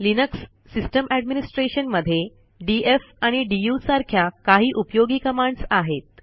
Linux system administration मध्ये DF आणि DU सारख्या काही उपयोगी कमांडस आहेत